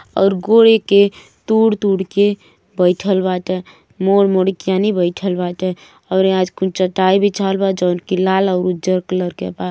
अउर गोड़ी के तूड़ - तूड़ के बईठल बाटे मुड़-मुड़ के यानी बईठल बाटे और यहाँ आज कुल चटाई बिछावल बा जउनकी लाल अउर उज्जल कलर के बा|